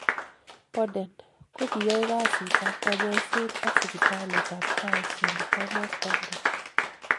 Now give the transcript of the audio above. Boden. ko kiyoe kasiit ap kanyoiseet ak sipitaliit ap Guy.st.Thomas London.